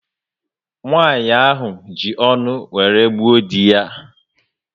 Nwanyị ahụ ji ọṅụ wéré gbuo dị ya